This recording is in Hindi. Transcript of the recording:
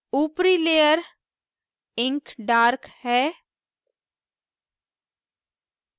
ऊपरी layer ink dark है